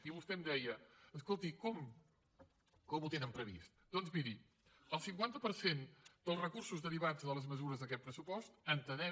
i vostè em deia escolti com ho tenen previst doncs miri el cinquanta per cent dels recursos derivats de les mesures d’aquest pressupost entenem